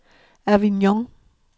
Avignon